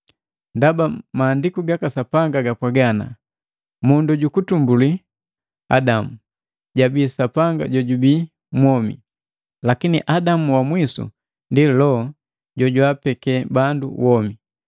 Ndaba Maandiku gaka Sapanga gapwaga, “Mundu jukutumbuli, Adamu, jabii Sapanga jojubii mwomi,” Lakini Adamu wa mwisu ndi Loho jojwaapeke bandu womi.